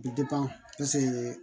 Bi